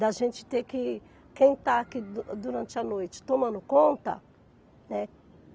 Da gente ter que, quem está aqui durante a noite tomando conta, né?